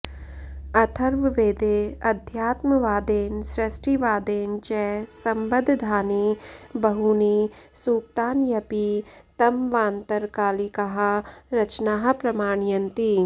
अथर्ववेदे अध्यात्मवादेन सृष्टिवादेन च सम्बद्धानि बहूनि सूक्तान्यपि तमवान्तरकालिकाः रचनाः प्रमाणयन्ति